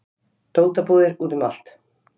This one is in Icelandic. Dótabúðir úti um allt